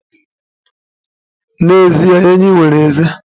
N'ezie, enyí nwere ezé